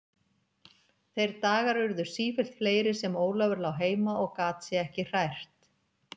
Þeir dagar urðu sífellt fleiri sem Ólafur lá heima og gat sig ekki hrært.